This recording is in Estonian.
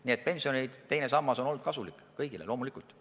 Nii et loomulikult on pensioni teine sammas olnud kõigile kasulik.